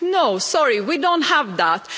No, sorry, we don't have that.